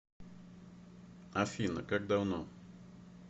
афина как давно